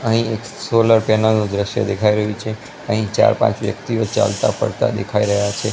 અહીં એક solar panel નુ દ્રશ્ય દેખાય રહ્યુ છે અહીં ચાર પાંચ વ્યકિતઓ ચાલતા ફરતા દેખાય રહ્યા છે.